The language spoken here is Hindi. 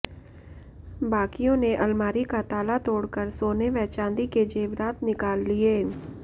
बाकियों ने अलमारी का ताला तोड़कर सोने व चांदी के जेवरात निकाल लिए